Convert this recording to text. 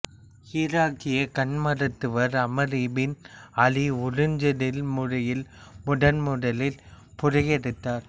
ஈராக்கிய கண்மருத்துவர் Ammar ibn Ali உறுஞ்சுதல் முறையில் முதன்முதலில் புரையெடுத்தார்